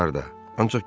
Bu yaxınlarda.